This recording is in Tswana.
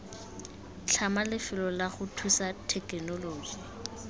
tlhama lefelo lago thuthusa thekenoloji